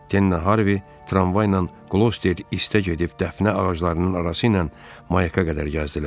Denlə Harvi tramvayla Qlosterə istəyə gedib dəfnə ağaclarının arası ilə mayaka qədər gəzdilər.